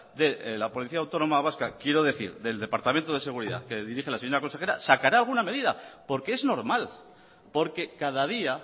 de la policía autónoma vasca quiero decir del departamento de seguridad que dirige la señora consejera sacará alguna medida porque es normal porque cada día